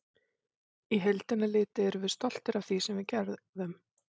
Í heildina litið erum við stoltir af því sem við gerðum.